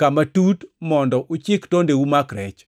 kama tut, mondo uchik tondeu omak rech.”